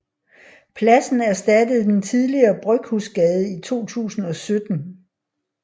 Pladsen erstattede den tidligere Bryghusgade i 2017